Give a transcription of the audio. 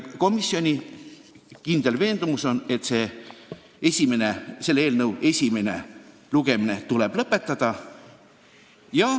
Komisjoni kindel veendumus on, et selle eelnõu esimene lugemine tuleb lõpetada.